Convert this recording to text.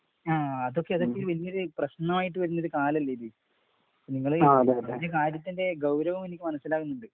ങാ.. അതൊക്കെ പിന്നീട് പ്രശ്‌നമായിട്ടു വരുന്നൊരു കാലമല്ലേ ഇത് . നിങ്ങള് ഈ